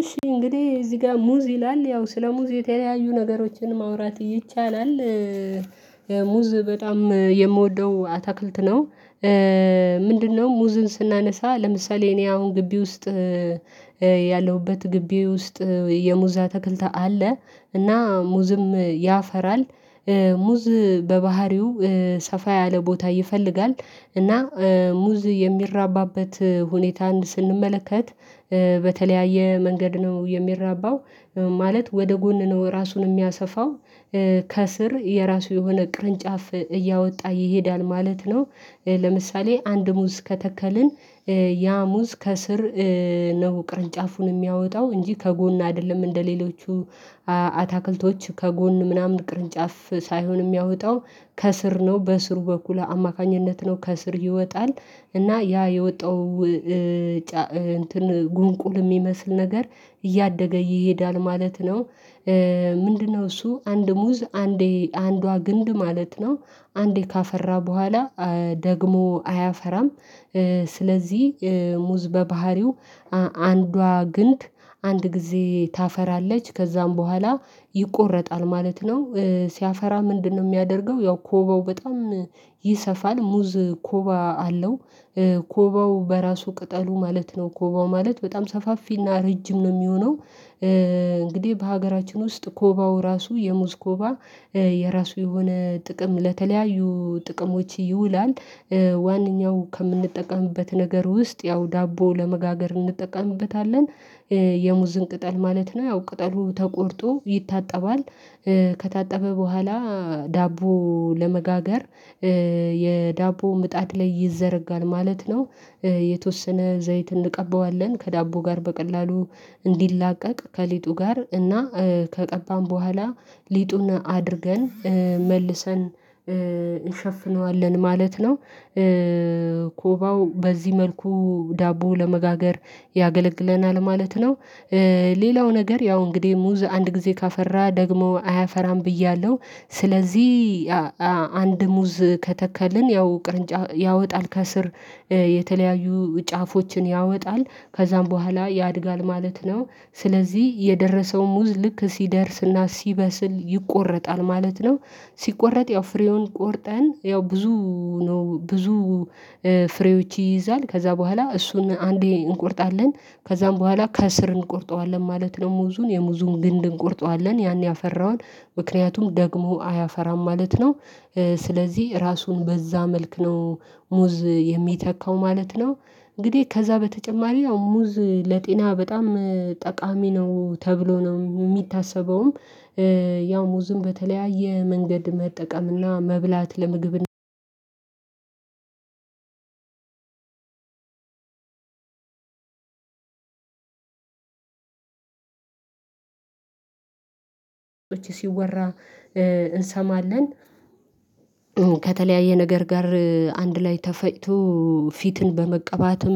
እሺ እንግዲህ እዚህ ጋር ሙዝ ይላል ያው ስለ ሙዝ የተለያዩ ነገሮችን ማውራት ይቻላል። ሙዝ በጣም የምወደው አታክልት ነው። ምንድነው? ሙዝን ስናነሳ ለምሳሌ እኔ አሁን ግቢ ውስጥ እየ ያለሁበት ግቢ ውስጥ የሙዝ አተክልት አለ እና ሙዝም ያፈራል ሙ ሙዝ በባህሪው ሰፋ ያለ ቦታ ይፈልጋል። እና ሙዝ የሚራባበት ሁኔታን ስንመለከት በተለያየ መንገድ ነው የሚራበው ማለት ወደ ጎን ነው ራሱን የሚያሰፋው። ከስር የራሱ የሆነ ቅርንጫፍ እያወጣ ይሄዳል ማለት ነው። ለምሳሌ አንድ ሙዝ ከተከልን ያ ሙዝ ከስር ነው ቅርንጫፉን የሚያወጣው እንጂ ከጎን አይደለም እንደሌሎቹ አ አታክልቶች ከጎን ምናምን ቅርንጫፍ ሳይሆን የሚያወጣው ከስር ነው በስሩ በኩል አማካኝነት ነው ከስር ይወጣል እና ያ የወጣው ጫ ጉንቁል የሚመስል ነገር እያደገ ይሄዳል ማለት ነው። ምንድነው? እሱ አንድ ሙዝ አንዴ አንዷ ግንድ ማለት ነው። አንዴ ካፈራ በኋላ ደግሞ አያፈራም ስ። ስለዚህ ሙዝ በባህሪው አንዷ ግንድ አንድ ጊዜ ታፈራለች ከዛም በኋላ ይቆረጣል ማለት ነው። ሲያፈራ ምንድነው የሚያደርገው ያው ኮባው በጣም ይሰፋል ሙዝ ኮባ አለው ኮባው በራሱ ቅጠሉ ማለት ነው ኮባው ማለት በጣም ሰፋፊና ረጅም ነው የሚሆነው። እንግዲህ በሀገራችን ውስጥ ኮባው ራሱ የሙዝ ኮባ የራሱ የሆነ ጥቅም ለተለያዩ ጥቅሞች ይውላል። ዋናኛው ከምንጠቀምበት ነገር ውስጥ ያው ዳቦ ለመጋገር እንጠቀምበታለን። የሙዝን ቅጠል ማለት ነው ያው ቅጠሉ ተቆርጦ ይታጠባል ከታጠበ በኋላ ዳቦ ለመጋገር ይ የዳቦ ምጣድ ላይ ይዘረጋል ማለት ነው። የ የተወሰነ ዘይት እንቀበዋለን ከዳቦ ጋር በቀላሉ እንዲላቀቅ ከሊጡ ጋር እና ከቀባን በኋላ ሊጡን አድርገን መልሰን እንሸፍነዋለን ማለት ነው። ኮባው በዚህ መልኩ ዳቦ ለመጋገር ያገለግለናል ማለት ነው። ሌ ሌላው ነገር ያው እንግዲህ ሙዝ አንድ ጊዜ ካፈራ ደግሞ አያፈራም ብያለሁ ስለዚህ አ አንድ ሙዝ ከተከልን ያው ቅርንጫፍ ያወጣል ከስር የተለያዩ ጫፎችን ያወጣል ከዛም በኋላ ያድጋል ማለት ነው። ስለዚህ የደረሰው ሙዝ ልክ ሲደርስና ሲበስል ይቆረጣል ማለት ነው። ሲቆረጥ ያው ፍሬውን ቆርጠን ያው ብዙ ነው ብዙ ፍሬዎች ይይዛል ከዛ በኋላ እሱን አንዴ እንቆርጣለን ከዛም በኋላ ከስር እንቆርጠዋለን ማለት ነው ሙዙን የሙዙን ግንድ እንቆርጠዋለን ያን ያፈራውን ምክንያቱም ደግሞ አያፈራም ማለት ነው። ስለዚህ ራሱን በዛ መልክ ነው ሙዝ የሚተካው ማለት ነው እንግዲህ ከዛ በተጨማሪ ያው ሙዝ ለጤና በጣም ጠቃሚ ነው ተብሎ ነው የሚታሰበውም። ያው ሙዝን በተለያየ መንገድ መጠቀም እና መብላት ለምግብነት። ውጪ ስወራ እንሰማለን። ከተለያየ ነገር ጋር አንድ ላይ ተፈጭቶ ፊትን መቀባትም